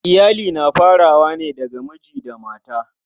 Iyali na farawa ne daga miji da mata.